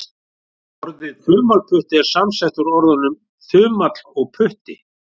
Orðið þumalputti er samsett úr orðunum þumall og putti.